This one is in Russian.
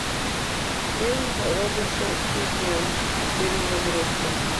фильм робосапиен перезагрузка